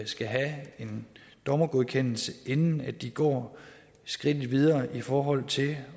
skal have en dommergodkendelse inden de går skridtet videre i forhold til